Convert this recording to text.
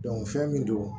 fɛn min don